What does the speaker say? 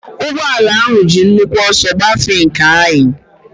Ụgbọala ahụ ji nnukwu ọsọ gbafee nke anyị.